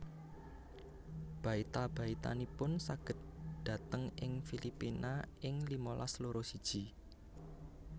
Baita baitanipun saged dhateng ing Filipina ing limalas loro siji